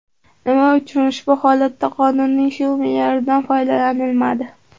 Nima uchun ushbu holatda qonunning shu me’yoridan foydalanilmadi?